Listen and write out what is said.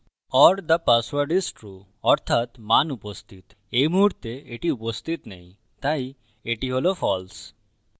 or the password is trueঅর্থাত মান উপস্থিত; এই মুহুর্তে এটি উপস্থিত নেই তাই এটি হল false